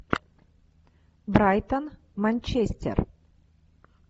брайтон манчестер